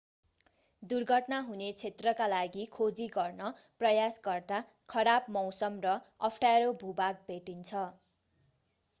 दुर्घटना हुने क्षेत्रका लागि खोजी गर्न प्रयास गर्दा खराब मौसम र अप्ठ्यारो भू-भाग भेटिन्छ